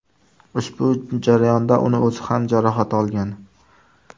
Ushbu jarayonda uning o‘zi ham jarohat olgan.